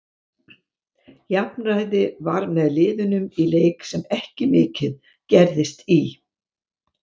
Jafnræði var með liðunum í leik sem ekki mikið gerðist í.